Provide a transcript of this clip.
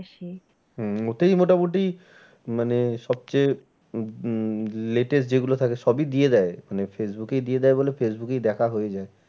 হম ওতেই মোটামুটি মানে সব চেয়ে উম latest যে গুলো থাকে সবই দিয়ে দেয়। মানে ফেইসবুকেই দিয়ে দেয় বলে ফেইসবুকেই দেখা হয়ে যায়।